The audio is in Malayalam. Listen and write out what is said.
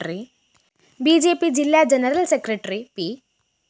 ബി ജെ പി ജില്ലാ ജനറൽ സെക്രട്ടറി പി